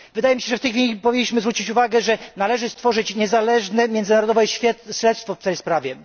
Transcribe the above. Wydaje mi się, że w tej chwili powinniśmy zwrócić uwagę, że należy wszcząć niezależne, międzynarodowe śledztwo w tej sprawie.